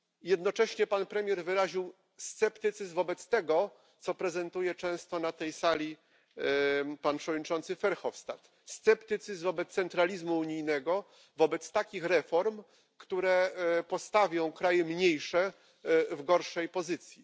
Jednocześnie pan premier wyraził sceptycyzm wobec tego, co prezentuje często na tej sali pan przewodniczący Verhofstadt, sceptycyzm wobec centralizmu unijnego, wobec takich reform, które postawią kraje mniejsze w gorszej pozycji.